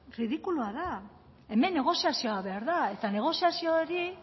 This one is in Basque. ridikulua da hemen negoziazioa behar da eta negoziazio hori